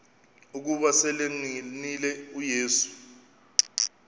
ukuba selengenile uyesu